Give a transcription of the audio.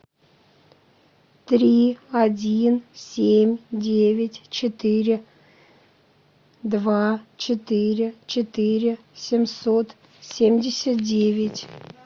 три один семь девять четыре два четыре четыре семьсот семьдесят девять